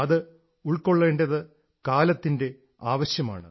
അത് ഉൾക്കൊള്ളേണ്ടത് കാലത്തിന്റെ ആവശ്യമാണ്